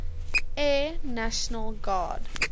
air national guard